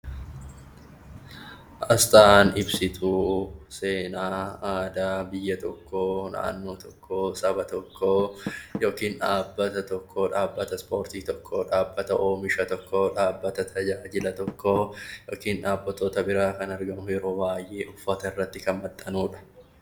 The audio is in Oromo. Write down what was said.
Aasxaan ibsituu seenaa, aadaa biyya tokkoo, naannoo tokkoo, saba tokkoo yookiin dhaabbata tokkoo, dhaabbata Ispoortii tokkoo, shaabbata oomisha tokkoo, dhaabbata tajaajila tokkoo yookiin dhaabbatoota biraa kan argamuu fi ueroo baay'ee uffatoota irratti kan maxxanudha.